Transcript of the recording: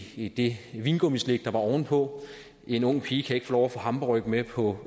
i det vingummislik der var oven på en ung pige kan ikke få hamburgerryg med på